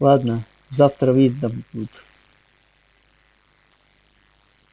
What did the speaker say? ладно завтра будет видно